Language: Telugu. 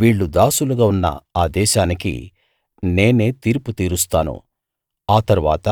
వీళ్ళు దాసులుగా ఉన్న ఆ దేశానికి నేను తీర్పు తీరుస్తాను ఆ తరువాత